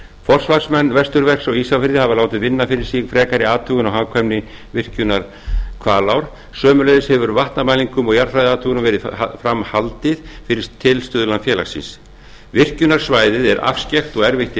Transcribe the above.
forsvarsmenn vesturverks á ísafirði hafa látið vinna fyrir sig frekari athugun á hagkvæmni virkjunar hvalár sömuleiðis hefur vatnamælingum og jarðfræðiathugunum verið framhaldið fyrir tilstuðlan félagsins virkjunarsvæðið er afskekkt og erfitt